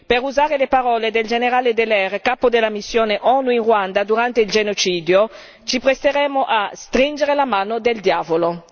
Per usare le parole del generale Dallaire, capo della missione ONU in Ruanda durante il genocidio, ci presteremmo a stringere la mano del diavolo.